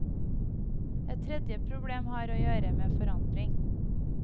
Et tredje problem har å gjøre med forandring.